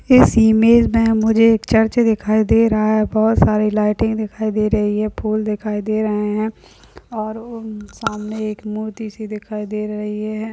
इस इमेज में मुझे एक चर्च दिखाई दे रहा है। बहुत सारी लाईटें दिखाई दे रही है फूल दिखाई दे रहे हैं और सामने एक मूर्ति सी दिखाई दे रही है।